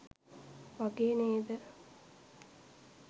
වගේ නේද?